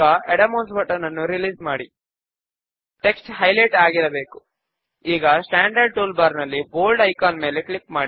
form లోని background colour ను white గా సబ్ ఫామ్ లోని బాక్ గ్రౌండ్ కలర్ ను బ్లూ 8 గా మారుద్దాము